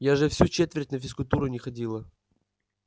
я же всю четверть на физкультуру не ходила